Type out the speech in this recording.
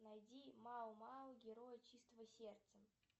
найди мао мао герои чистого сердца